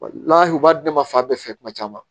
u b'a di ne ma fa bɛɛ fɛ kuma caman